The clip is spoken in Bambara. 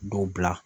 Dɔw bila